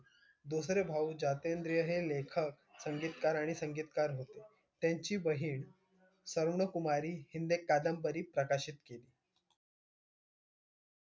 दुसरे भाऊ ज्योतिद्र हे लेखक, संगीतकार आणि संगीतकार होते. त्यांची बहीण स्वर्णकुमारी हिने कादंबरी प्रकाशित केली.